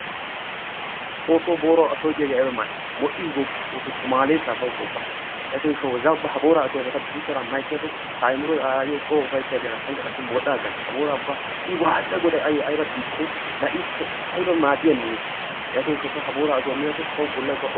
Xoosso boorawu ashoy diyaagee ayba mal'ii! modhdhiis gooppa xoossoo tumaaleesaa bawukkaa ubba! yatiyoo gishawu ha booraa ashuwaappe guttara ma ekkiyaakko ta ayimiroy aayyoo coo upaytti aggana, tanklka qassi modhdha agana, ha borra i waatidi a goday ayoo ayba xiikkidee! ayba maaddiyaa mehee yaatiyoo gishawu ta ha boorraa ashuwaa miyaakko tawu bollay modhana.